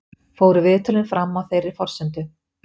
Fóru viðtölin fram á þeirri forsendu